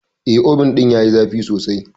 Eh, Obin ɗin yayi zafi sosai.